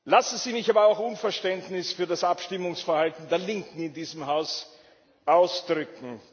Lassen Sie mich aber auch Unverständnis für das Abstimmungsverhalten der Linken in diesem Haus ausdrücken.